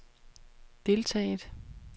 deltaget